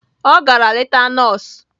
Ọ gara leta nọọsụ